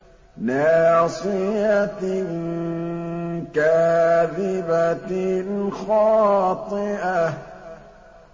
نَاصِيَةٍ كَاذِبَةٍ خَاطِئَةٍ